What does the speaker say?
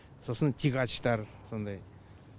сосын тягачтар сондай